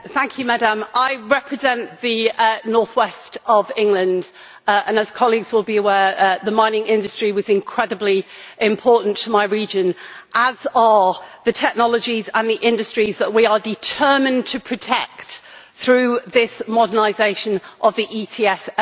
I represent the north west of England and, as my colleagues will be aware, the mining industry was incredibly important to my region, as are all the technologies and the industries that we are determined to protect through this modernisation of the ETS MSR.